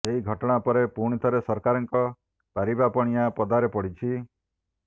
ଏହି ଘଟଣା ପରେ ପୁଣି ଥରେ ସରକାରଙ୍କ ପାରିବାପଣିଆ ପଦାରେ ପଡ଼ିଛି